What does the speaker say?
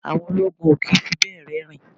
Àwọn ológun o kì í fi bẹ́ẹ̀ rẹ́rìn-ín.